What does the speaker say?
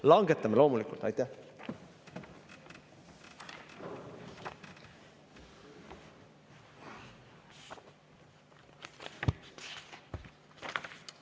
Langetame loomulikult!